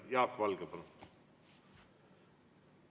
Jaak Valge, palun!